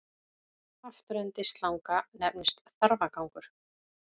Afturendi slanga nefnist þarfagangur.